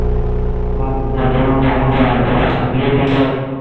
তোমার দিয়ে দিলো